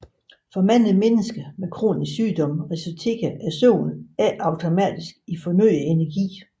For mange mennesker med kronisk sygdom resulterer søvnen ikke automatisk i fornyet energi